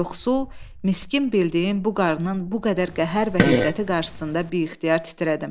Yoxsul, miskin bildiyim bu qarnının bu qədər qəhər və hiddəti qarşısında biixtiyar titrədim.